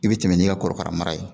I bɛ tɛmɛ ni ka kɔrɔkara mara ye